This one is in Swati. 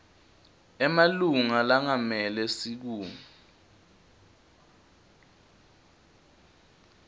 emalunga lengamele sikimu